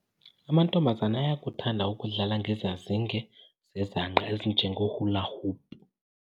Amantombazana ayakuthanda ukudlala ngezazinge zezangqa ezinjengeholahopu.